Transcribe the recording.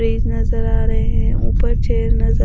मेज नजर आ रहे हैं ऊपर चेयर नजर--